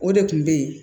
O de kun be yen